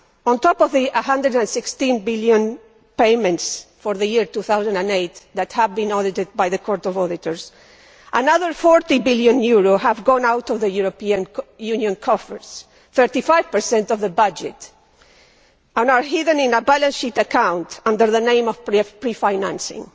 On top of the EUR 116 billion payments for the year 2008 that have been audited by the Court of Auditors, another EUR 40 billion has gone out of the European Union coffers. Thirty five per cent of the budget is now hidden in a balance sheet account under the name of Prefinancing'